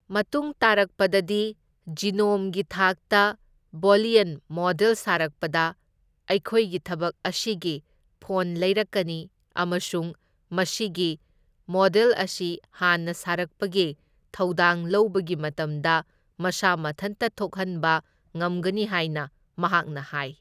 ꯃꯇꯨꯡ ꯇꯥꯔꯛꯄꯗꯗꯤ ꯖꯤꯅꯣꯝꯒꯤ ꯊꯥꯛꯇ ꯕꯣꯂꯤꯌꯟ ꯃꯣꯗꯦꯜ ꯁꯥꯔꯛꯄꯗ ꯑꯩꯈꯣꯏꯒꯤ ꯊꯕꯛ ꯑꯁꯤꯒꯤ ꯐꯣꯟ ꯂꯩꯔꯛꯀꯅꯤ ꯑꯃꯁꯨꯡ ꯃꯁꯤꯒꯤ ꯃꯣꯗꯦꯜ ꯑꯁꯤ ꯍꯥꯟꯅ ꯁꯥꯔꯛꯄꯒꯤ ꯊꯧꯗꯥꯡ ꯂꯧꯕꯒꯤ ꯃꯇꯝꯗ ꯃꯁꯥ ꯃꯊꯟꯇ ꯊꯣꯛꯍꯟꯕ ꯉꯝꯒꯅꯤ ꯍꯥꯏꯅ ꯃꯍꯥꯛꯅ ꯍꯥꯏ꯫